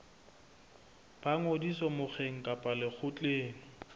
ba ngodiso mokgeng kapa lekgotleng